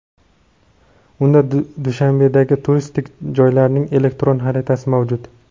unda Dushanbedagi turistik joylarning elektron xaritasi mavjud.